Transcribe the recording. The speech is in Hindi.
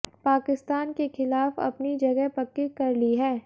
पाकिस्तान के खिलाफ अपनी जगह पक्की कर ली है